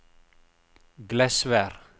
Glesvær